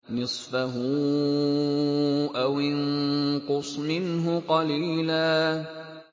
نِّصْفَهُ أَوِ انقُصْ مِنْهُ قَلِيلًا